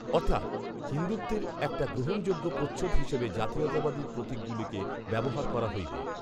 অর্থাৎ,‌ হিন্দুত্বের একটা গ্রহণযোগ্য প্রচ্ছদ হিসাবে জাতীয়তাবাদী প্রতিকগুলিকে ব্যবহার করা হইবে